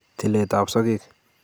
Tiletab sokek